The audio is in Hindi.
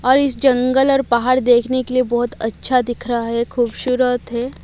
और इस जंगल और पहाड़ देखने के लिए बहुत अच्छा दिख रहा है खूबसूरत है।